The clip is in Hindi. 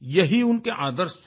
यही उनके आदर्श थे